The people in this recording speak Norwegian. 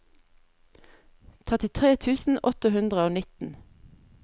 trettitre tusen åtte hundre og nitten